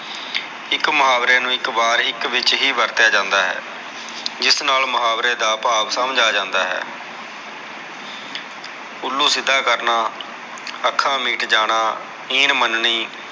ਇਕ ਮੁਹਾਵਰੇ ਨੂ ਇਕ ਵਾਰ ਹੀ ਇਕ ਵਿਚ ਹੀ ਵਰਤਿਆ ਜਾਂਦਾ ਹੈ ਇਸ ਨਾਲ ਮੁਹਾਵਰੇ ਦਾ ਭਾਵ ਸਮਝ ਆ ਜਾਂਦਾ ਹੈ ਉਲੂ ਸਿਧਾ ਕਰਨਾ ਅਖਾ ਮੀਟ ਜਾਣੀ ਇਨ ਮਨਨੀ